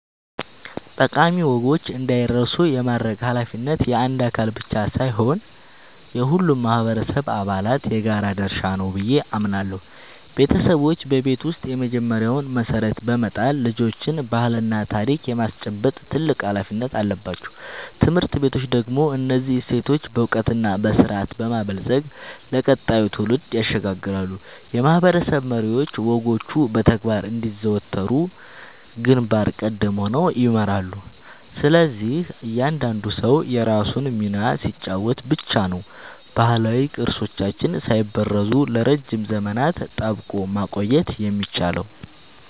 ጠቃሚ ወጎች እንዳይረሱ የማድረግ ኃላፊነት የአንድ አካል ብቻ ሳይሆን የሁሉም ማህበረሰብ አባላት የጋራ ድርሻ ነው ብዬ አምናለሁ። ቤተሰቦች በቤት ውስጥ የመጀመሪያውን መሰረት በመጣል ልጆችን ባህልና ታሪክ የማስጨበጥ ትልቅ ኃላፊነት አለባቸው። ትምህርት ቤቶች ደግሞ እነዚህን እሴቶች በዕውቀትና በስርዓት በማበልጸግ ለቀጣዩ ትውልድ ያሸጋግራሉ፤ የማህበረሰብ መሪዎችም ወጎቹ በተግባር እንዲዘወተሩ ግንባር ቀደም ሆነው ይመራሉ። ስለዚህ እያንዳንዱ ሰው የራሱን ሚና ሲጫወት ብቻ ነው ባህላዊ ቅርሶቻችንን ሳይበረዙ ለረጅም ዘመናት ጠብቆ ማቆየት የሚቻለው።